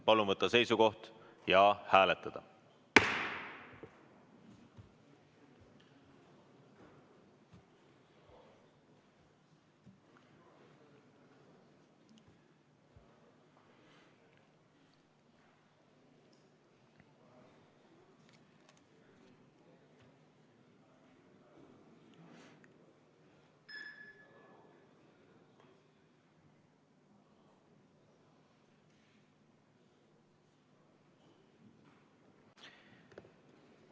Palun võtta seisukoht ja hääletada!